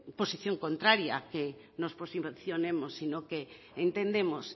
posición contraria que nos posicionemos sino que entendemos